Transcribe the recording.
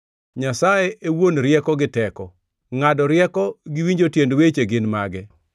“Nyasaye e wuon rieko gi teko; ngʼado rieko gi winjo tiend weche gin mage.